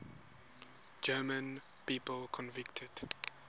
german people convicted